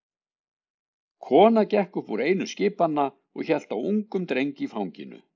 Kona gekk upp úr einu skipanna og hélt á ungum dreng í fanginu.